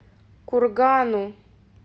кургану